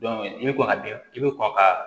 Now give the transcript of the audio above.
i bɛ kɔn ka bin i bɛ kɔn ka